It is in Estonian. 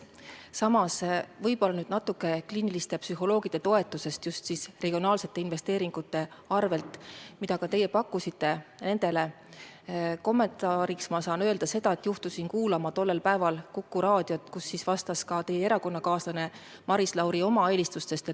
Samas, kommenteerides võib-olla natuke kliiniliste psühholoogide toetamist just regionaalsete investeeringute arvel, mida ka teie pakkusite, saan öelda seda, et juhtusin kuulama tollel päeval Kuku Raadiot, kus oma eelistustest rääkis teie erakonnakaaslane Maris Lauri.